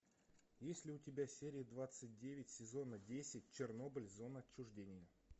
есть ли у тебя серия двадцать девять сезона десять чернобыль зона отчуждения